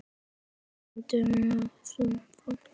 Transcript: Ekki öfunda ég þá